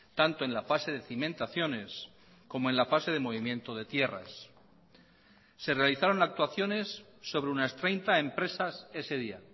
tanto en la fase de cimentaciones como en la fase de movimiento de tierras se realizaron actuaciones sobre unas treinta empresas ese día